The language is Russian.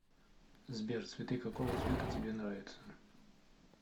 сбер цветы какого цвета тебе нравятся